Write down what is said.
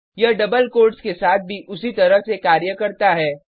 यह double quotes के साथ भी उसी तरह से कार्य करता है